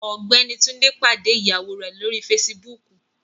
Ọgbẹni Tunde pade iyawo rẹ lori Fèsìbúukù